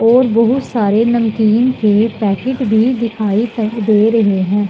और बहुत सारे नमकीन के पैकिट भी दिखाई दे रहे हैं।